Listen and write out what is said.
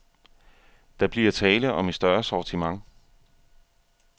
Der bliver tale om et større sortiment.